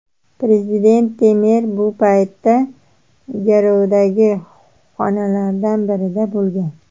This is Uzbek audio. Prezident Temer bu paytda qarorgohdagi xonalardan birida bo‘lgan.